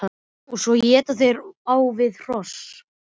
Og svo éta þeir á við hross!